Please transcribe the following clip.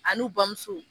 A n'u bamuso